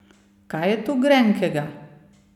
Kaj je tu grenkega?